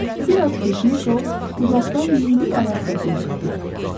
Bir az keçmiş o uzaqdan yüngül ayaq səsi eşitdi.